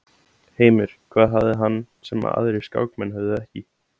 Heimir: Hvað hafði hann sem að aðrir skákmenn höfðu ekki?